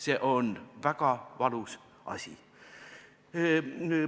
See on väga valus asi.